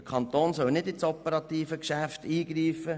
Der Kanton soll nicht in das operative Geschäft eingreifen;